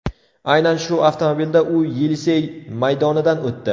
Aynan shu avtomobilda u Yelisey maydonidan o‘tdi.